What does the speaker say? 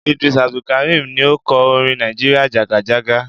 Idris Abdukarim ni ó kọ orin "Nigeria jàgàjágá''.